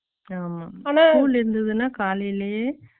school இருந்துதுனா காலைலயே